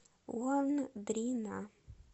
лондрина